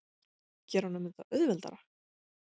Gera honum þetta auðveldara?